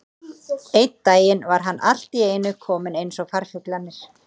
Einn daginn var hann allt í einu kominn eins og farfuglarnir.